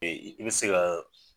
i bi se ka